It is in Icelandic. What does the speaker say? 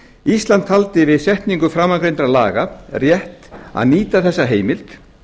ísland taldi við setningu framangreindra laga rétt að nýta þessa heimild